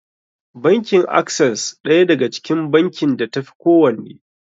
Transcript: Bankin Access ɗaya daga cikin bankin da ta fi kowanne.